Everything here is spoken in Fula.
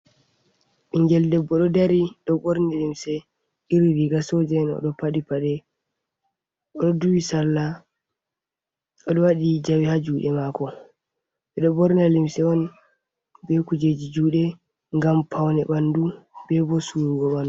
Ɓingel debbo ɗo dari ɗo borne limse iri riga soja’en oɗo paɗi paɗe o'duhii sarla o'waɗi jawe ha juɗe mako ɓeɗo borni limse on be kujeji juɗe ngam paune ɓandu be bo surugo man.